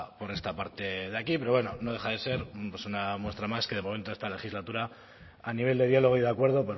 por esta parte de aquí pero bueno no deja de ser una muestra más que de momento esta legislatura a nivel de diálogo y de acuerdo